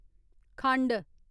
खंड